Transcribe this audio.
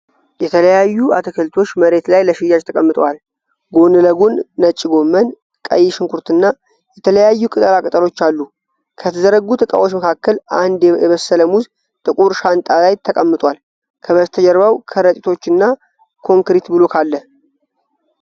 የተለያዩ አትክልቶች መሬት ላይ ለሽያጭ ተቀምጠዋል። ጎን ለጎን ነጭ ጎመን፣ ቀይ ሽንኩርት እና የተለያዩ ቅጠላ ቅጠሎች አሉ። ከተዘረጉት እቃዎች መካከል አንድ የበሰለ ሙዝ ጥቁር ሻንጣ ላይ ተቀምጧል። ከበስተጀርባው ከረጢቶችና ኮንክሪት ብሎክ አለ።